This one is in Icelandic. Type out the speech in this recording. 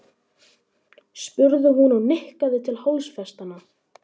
spurði hún og nikkaði til hálsfestanna.